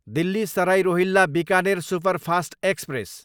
Delhi Sarai Rohilla, Bikaner superfast express